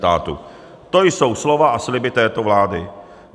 To jsou slova a sliby této vlády.